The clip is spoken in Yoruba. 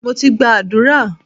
Mo ti gba àdúrà.